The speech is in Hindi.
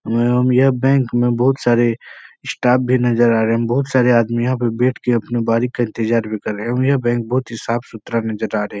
अम यह बैंक मे बोहोत सारे स्टाफ भी नज़र आ रहे। बोहोत सारे आदमी यहाँ पर बैठ कर अपनी बारी का इंतजार भी कर रहे होगे। यह बैंक बोहोत ही साफ सुथरा नजर आ रहे है।